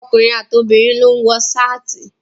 Ọkùnrin àti obìnrin ló ń wọ Ṣáàtì.